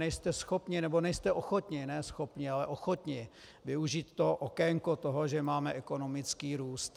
Nejste schopni, nebo nejste ochotni, ne schopni, ale ochotni využít to okénko toho, že máme ekonomický růst.